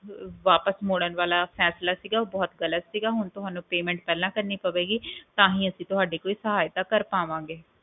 ਵਾਪਸ ਮੋੜਨ ਵਾਲਾ ਫੈਸਲਾ ਸੀਗਾ ਉਹ ਬਹੁਤ ਗ਼ਲਤ ਸੀਗਾ ਹੁਣ ਤੁਹਾਨੂੰ online payment ਪਹਿਲਾਂ ਕਰਨੀ ਪਵੇਗੀ ਤਾਹਿ ਅਸੀਂ ਤੁਹਾਡੀ ਕੋਈ ਸਹਾਇਤਾ ਕਰ ਪਾਵਾਂਗੇ